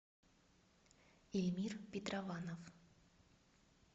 ильмир петрованов